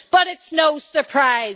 But it is no surprise.